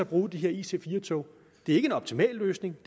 bruge de her ic4 tog det er ikke en optimal løsning